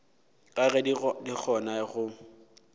ka ge di kgona go